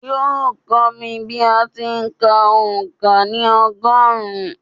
Yóò kọ́ mi bí a ti ń kà òǹkà ní ọgọ́rùn-ún